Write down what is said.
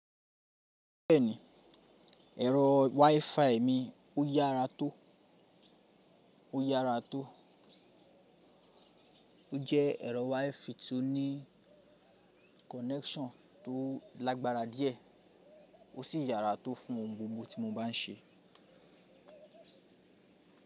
Bẹ́ẹ̀ni, ẹ̀rọ WiFi mi ó yára tó, ó yára tó. Ó jẹ́ ẹ̀rọ WiFi tó ní kọ́nẹksán tó lágbára díẹ̀ ó sì yára tó fún ohun gbogbo tí mo bá n ṣe.